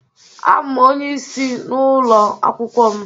Abụ m onye isi n'ụlọ akwụkwọ m.